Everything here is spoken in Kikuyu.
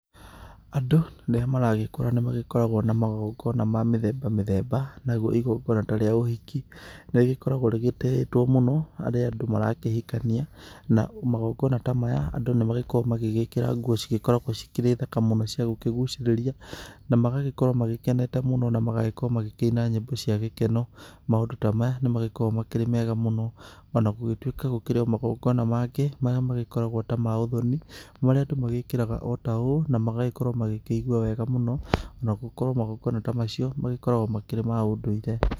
Andũ rĩrĩa maragĩkũra nĩ makoragwo na magongona ma mĩthemba mĩthemba, nario igongona ta rĩa ũhiki, nĩrĩkoragwo rĩgĩtĩitwo mũno harĩ andũ mara kĩhikania na magongona ta maya andũ nĩ makoragwo magĩgĩkĩra nguo cigĩkoragwo cikĩrĩ thaka mũno cia gũkĩgũcirĩria, na magagĩkorwo magĩkenete mũno na magagĩkorwo makĩina nyĩmbo cia gĩkeno, maũndũ ta maya nĩ magĩkoragwo makĩrĩ mega mũno ona gũgĩtuĩka gũkĩrĩ magona mangĩ marĩa makoragwo ta ma ũthoni, marĩa andũ magĩkĩraga o taũ na magagĩkorwo makĩigua mũno ona gũkorwo magongona ta macio magĩkoragwo makĩrĩ ma ũndũire.